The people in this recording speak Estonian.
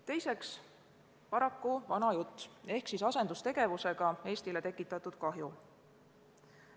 Teiseks, paraku vana jutt ehk asendustegevusega Eestile tekitatud kahju.